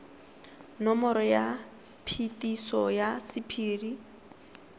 nomoro ya phetiso ya sephiri